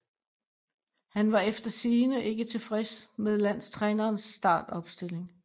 Han var efter sigende ikke tilfreds med landstrænerens startopstilling